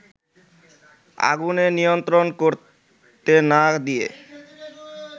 আগুনে নিয়ন্ত্রণ করতে না দিয়ে